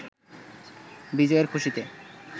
বিজয়ের খুশিতে